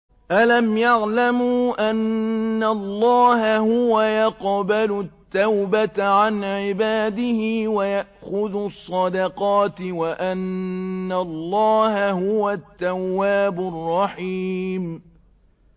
أَلَمْ يَعْلَمُوا أَنَّ اللَّهَ هُوَ يَقْبَلُ التَّوْبَةَ عَنْ عِبَادِهِ وَيَأْخُذُ الصَّدَقَاتِ وَأَنَّ اللَّهَ هُوَ التَّوَّابُ الرَّحِيمُ